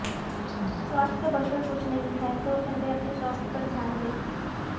स्वास्थ्य से बढ़कर कुछ नहीं है तो पहले अपने स्वास्थ्य पर ध्यान दें